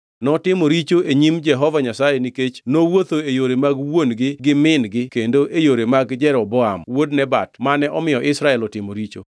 Notimo richo e nyim Jehova Nyasaye nikech nowuotho e yore mag wuon-gi gi min-gi kendo e yore mag Jeroboam wuod Nebat mane omiyo Israel otimo richo.